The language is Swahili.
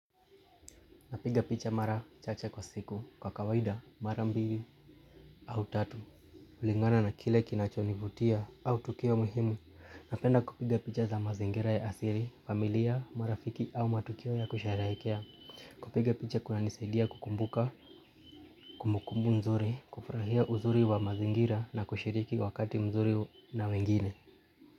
Napiga picha mara chache kwa siku kwa kawaida mara mbili au tatu. Kulingana na kile kinachonivutia au tukio muhimu napenda kupiga picha za mazingira ya asili, familia, marafiki au matukio ya kusherehekea. Kupiga picha kuna nisadia kukumbuka, kumukumbu nzuri, kufurahia uzuri wa mazingira na kushiriki wakati mzuri na wengine.